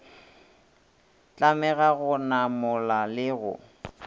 tlamega go namola le go